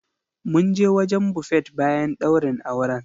Mun je wajen Buffet bayan ɗaurin auren.